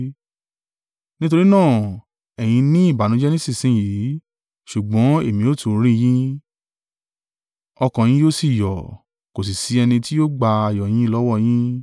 Nítorí náà ẹ̀yin ní ìbànújẹ́ nísinsin yìí, ṣùgbọ́n èmi ó tún rí yín, ọkàn yín yóò sì yọ̀, kò sì sí ẹni tí yóò gba ayọ̀ yín lọ́wọ́ yín.